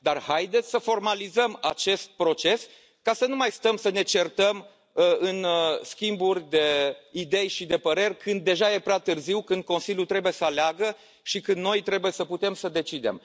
Dar haideți să formalizăm acest proces, ca să nu mai stăm să ne certăm în schimburi de idei și de păreri când deja este prea târziu, când Consiliul trebuie să aleagă și când noi trebuie să putem să decidem!